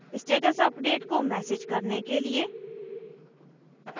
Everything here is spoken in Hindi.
status अपडेट को मैसेज करने के लिए